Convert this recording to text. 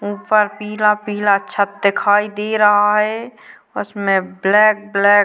ऊपर पीला पीला छत दिखाई दे रहा है। उसमें ब्लैक ब्लैक --